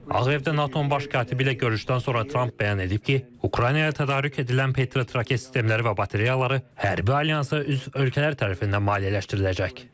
Ağ Evdə NATO-nun baş katibi ilə görüşdən sonra Tramp bəyan edib ki, Ukraynaya tədarük edilən Patriot raket sistemləri və batareyaları hərbi alyansa üzv ölkələr tərəfindən maliyyələşdiriləcək.